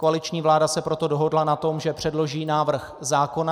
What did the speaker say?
Koaliční vláda se proto dohodla na tom, že předloží návrh zákona.